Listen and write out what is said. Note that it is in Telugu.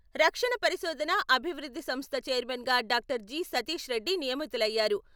రక్షణ పరిశోధన, అభివృద్ధి సంస్థ ఛైర్మన్ గా డాక్టర్ జి. సతీష్ రెడ్డి నియమితులయ్యారు.